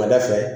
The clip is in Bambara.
fɛ